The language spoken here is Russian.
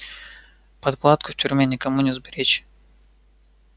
подкладку в тюрьме никому не сберечь